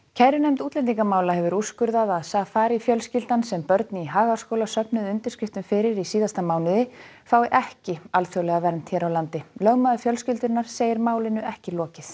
kærunefnd útlendingamála hefur úrskurðað að Safari fjölskyldan sem börn í Hagaskóla söfnuðu undirskriftum fyrir í síðasta mánuði fái ekki alþjóðlega vernd hér á landi lögmaður fjölskyldunnar segir málinu ekki lokið